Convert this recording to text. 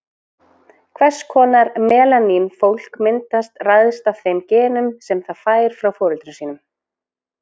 Hvers konar melanín fólk myndast ræðst af þeim genum sem það fær frá foreldrum sínum.